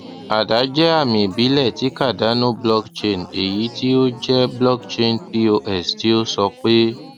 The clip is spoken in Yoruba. ada jẹ àmì ìbílẹ ti cardano blockchain eyi ti o jẹ blockchain pos ti o sọ pe